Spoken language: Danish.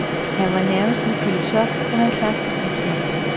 Han var nærmest en filosof eller en slags vismand.